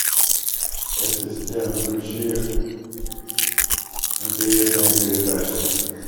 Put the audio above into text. ассистент включи интересные передачи